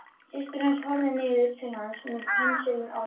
Systir hans horfði niður til hans með pensilinn á lofti.